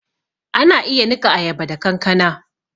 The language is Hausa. Ana iya niƙa ayaba da kankana